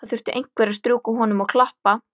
Það þurfti einhver að strjúka honum og klappa.